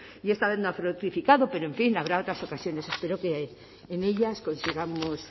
y esta vez no ha fructificado pero en fin habrá otras ocasiones espero que en ellas consigamos